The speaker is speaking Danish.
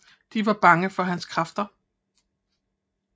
De var bange for hans kræfter